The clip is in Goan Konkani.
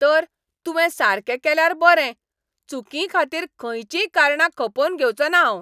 तर, तुवें सारकें केल्यार बरें. चुकीं खातीर खंयचीय कारणां खपोवन घेवचो ना हांव.